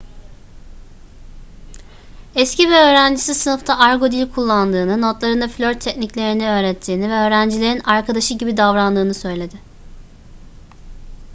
eski bir öğrencisi sınıfta argo dil kullandığını notlarında flört tekniklerini öğrettiğini ve öğrencilerin arkadaşı' gibi davrandığını söyledi